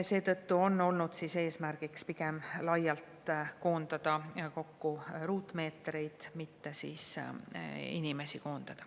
Seetõttu on olnud eesmärk pigem laialt koondada ruutmeetreid, mitte inimesi.